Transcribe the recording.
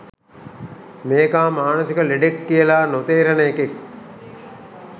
මේකා මානසික ලෙඩෙක් කියලා නොතේරෙන එකෙක්